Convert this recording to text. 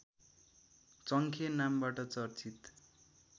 चङ्खे नामबाट चर्चित